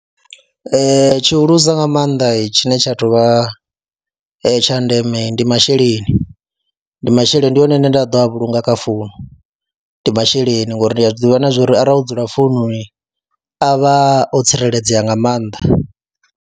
Ee, tshihulusa nga maanḓa tshine tsha tou vha tsha ndeme ndi masheleni, ndi masheleni ndi one ane nda ḓo a vhulunga kha founu, ndi masheleni ngori ndi a zwi ḓivha na zwo ri arali o dzula foununi a vha o tsireledzea nga maanḓa.